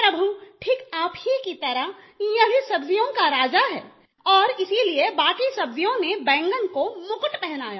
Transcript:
प्रभु ठीक आप ही की तरह यह भी सब्जियों का राजा है और इसीलिए बाकी सब्ज़ियों ने बैंगन को मुकुट पहनाया